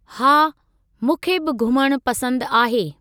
हा, मूंखे बि घुमणु पसंद आहे।